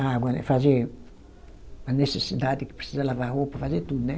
a água, né, fazer a necessidade que precisa lavar a roupa, fazer tudo, né.